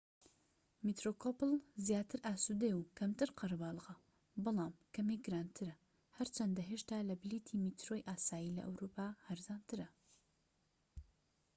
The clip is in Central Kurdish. میترۆکۆپڵ زیاتر ئاسودەیە و کەمتر قەرەباڵغە بەڵام کەمێک گرانترە هەرچەندە هێشتا لە بلیتی میترۆی ئاسایی لە ئەوروپا هەرزانترە